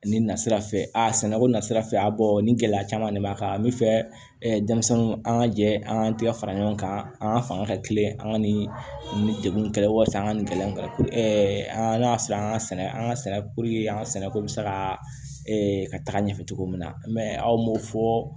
Ni na sira fɛ a sɛnɛko nasira fɛ a bɔ ni gɛlɛya caman de b'a kan a bɛ fɛ denmisɛnnin an ka jɛ an k'an tɛgɛ fara ɲɔgɔn kan an fanga ka teli an ka nin degun kɛlɛ waati an ka nin gɛlɛya in ka an y'a sɔrɔ an ka sɛnɛ an ka sɛnɛ an ka sɛnɛ ko bɛ se ka ka taga ɲɛfɛ cogo min na mɛ aw m'o fɔ